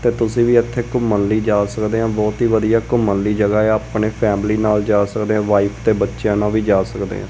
ਤੇ ਤੁਸੀਂ ਵੀ ਇੱਥੇ ਘੁੰਮਣ ਲਈ ਜਾ ਸਕਦੇ ਆਂ ਬਹੁਤ ਹੀ ਵਧੀਆ ਘੁੰਮਣ ਲਈ ਜਗ੍ਹਾ ਆ ਆਪਣੇ ਫੈਮਲੀ ਨਾਲ ਜਾ ਸਕਦੇ ਆ ਵਾਈਫ ਤੇ ਬੱਚਿਆਂ ਨਾਲ ਵੀ ਜਾ ਸਕਦੇ ਆਂ।